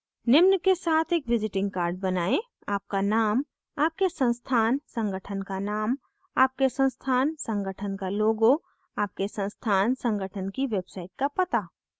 निम्न के साथ एक visiting card बनाएं